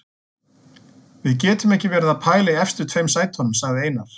Við getum ekki verið að pæla í efstu tveim sætunum, sagði Einar.